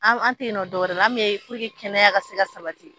An te yen nɔ dɔwɛrɛ la ,an be yen kɛnɛya ka se ka sabati.